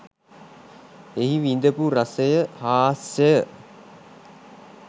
එහි විඳපු රසය හාස්‍යය